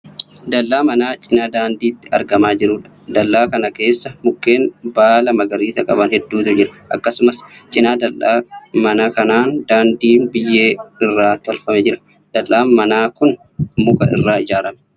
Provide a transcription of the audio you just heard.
Dal'aa manaa cina daandiitti argamaa jirudha. Dal'aa kana keessa mukeen baala magariisa qaban hedduutu jira. Akkasumallee cina dal'aa manaa kanaan daandiin biyyee irraa tolfame jira. Dal'aan manaa kun muka irraa ijaarame.